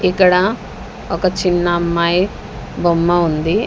ఇక్కడ ఒక చిన్న అమ్మాయి బొమ్మ ఉంది.